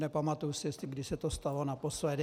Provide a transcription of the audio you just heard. Nepamatuji si, kdy se to stalo naposledy.